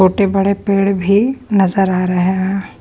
छोटे-बड़े पेड़ भी नजर आ रहे है।